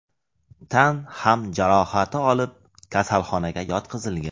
tan ham jarohati olib, kasalxonaga yotqizilgan.